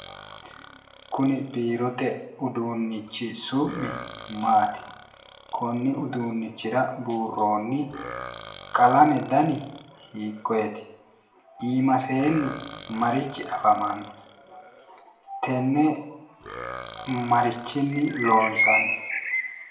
Kuni biirote uduunnichi su'mi maati? Konni uduunnichira buurroonni qalame dani hikkonneeti? Iimaseenni marichi afamanno? Tenne marichinni loonsanni?